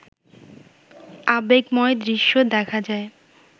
আবেগময় দৃশ্য দেখা যায়